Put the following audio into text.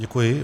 Děkuji.